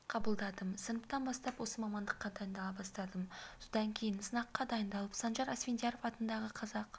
қабылдадым сыныптан бастап осы мамандыққа дайындала бастадым содан кейін сынаққа дайындалып санжар асфендияров атындағы қазақ